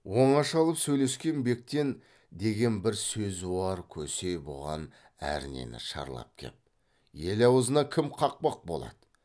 оңаша алып сөйлескен бектен деген бір сөзуар көсе бұған әрнені шарлап кеп ел аузына кім қақпақ болады